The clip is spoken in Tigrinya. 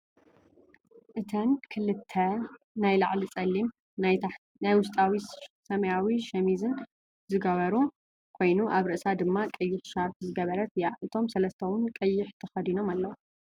እተን ክልት ናይ ላዕሊ ፀሊም ናይ ውሽጢ ሰማያዊ ሸሚዝን ዝገበሩ ኮይኑ ኣብ ርእሳ ድማ ቀይሕ ሻርፕ ዝገበረት እያ። እቶም ሰለስተ እውን ቀይሕ ተከዲኖም ኣለው።